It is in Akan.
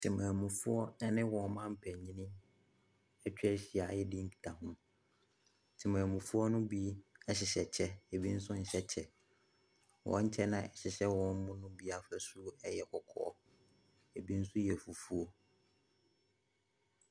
Temamufoɔ ne wɔn mampanin atwa ahyia redi nkitaho. Temamufoɔ no bi hyehyɛ kyɛ, ɛbi nsoi nhyɛ kyɛ. Wɔn kyɛ no a ahyehyɛ wɔn no mu bi afasuo yɛ kɔkɔɔ, ɛbi nso yɛ fufuo.